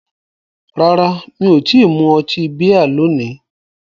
Rárá, mi ò tí ì mu ọtí bíà lónìí